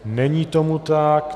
Není tomu tak.